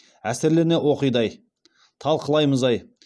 әсерлене оқиды ай талқылаймыз ай